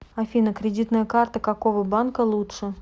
афина кредитная карта какого банка лучше